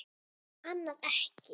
Annað ekki.